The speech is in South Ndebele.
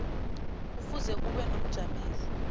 kufuze kube nomjameli